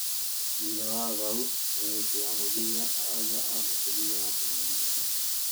Thũtha wa haũ, mũnyiti wa mũbira araũga amukirirĩe na kumurĩnga